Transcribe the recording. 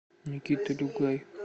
никита дюгай